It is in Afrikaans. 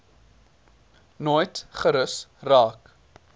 nooit gerus raak